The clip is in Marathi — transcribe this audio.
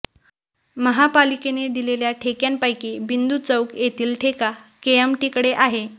महापालिकेने दिलेल्या ठेक्यापैकी बिंदू चौक येथील ठेका केएमटीकडे आहे